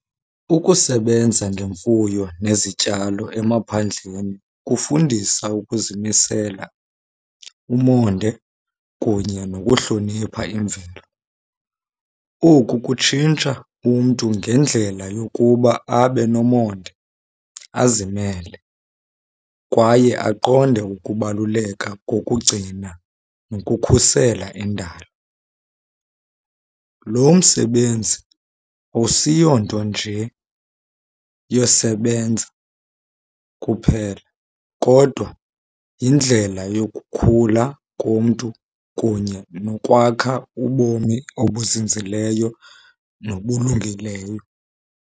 Ukusebenza ngemfuyo nezityalo emaphandleni kufundisa ukuzimisela, umonde, kunye nokuhlonipha imveli. Oku kutshintsha umntu ngendlela yokuba abe nomonde, azimele, kwaye aqonde ukubaluleka kokugcina nokukhusela indalo. Lo msebenzi awusiyonto nje yosebenza kuphela, kodwa yindlela yokukhula komntu kunye nokwakha ubomi obuzinzileyo nobulungileyo.